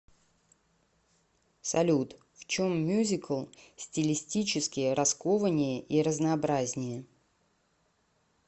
салют в чем мюзикл стилистически раскованнее и разнообразнее